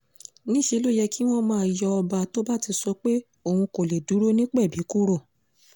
níṣẹ́ ló yẹ kí wọ́n máa yọ ọba tó bá ti sọ pé òun kò lè dúró nípẹ́bí kúrò